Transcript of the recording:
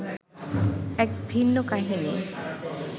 এক ভিন্ন কাহিনি